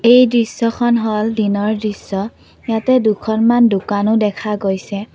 এই দৃশ্যখন হ'ল দিনৰ দৃশ্য ইয়াতে দুখনমান দোকানো দেখা গৈছে।